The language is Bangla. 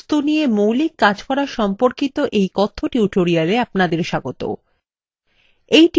libreoffice draw তে বস্তু নিয়ে মৌলিক কাজ করা সম্পর্কিত এই কথ্য tutorialএ আপনাদের স্বাগত